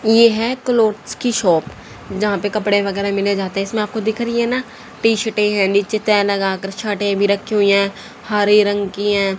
यह है क्लोथ्स की शॉप यहां पे कपड़े वगैरह मिले जाते हैं इसमें आपको दिख रही है ना टी शर्ट है नीचे तह लगाकर शर्ट भी रखी हुई हैं हरे रंग की हैं।